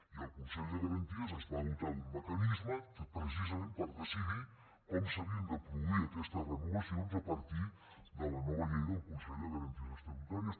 i el consell de garanties es va dotar d’un mecanisme precisament per decidir com s’havien de produir aquestes renovacions a partir de la nova llei del consell de garanties estatutàries